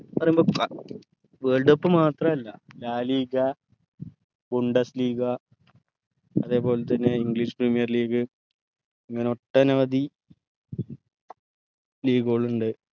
പറയുമ്പോ world cup മാത്രല്ല La Liga league അതെ പോലെ തന്നെ english premier league ഇങ്ങനെ ഒട്ടനവധി league കുളണ്ട്